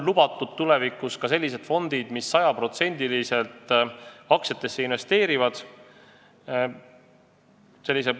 Tulevikus on lubatud ka sellised fondid, mis 100%-liselt aktsiatesse investeerivad.